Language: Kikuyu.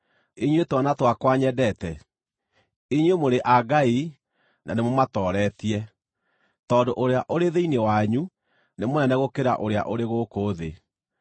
Inyuĩ twana twakwa nyendete, inyuĩ mũrĩ a Ngai na nĩmũmatooretie, tondũ ũrĩa ũrĩ thĩinĩ wanyu nĩ mũnene gũkĩra ũrĩa ũrĩ gũkũ thĩ.